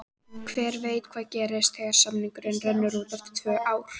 Hver veit hvað gerist þegar samningurinn rennur út eftir tvö ár?